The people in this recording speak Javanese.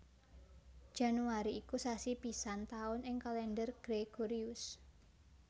Januari iku sasi pisan taun ing Kalendher Gregorius